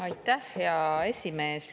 Aitäh, hea esimees!